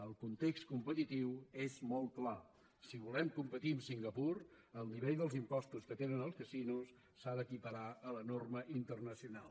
el context competitiu és molt clar si volem competir amb singapur el nivell dels impostos que tenen els casinos s’ha d’equiparar a la norma internacional